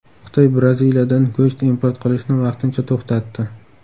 Xitoy Braziliyadan go‘sht import qilishni vaqtincha to‘xtatdi.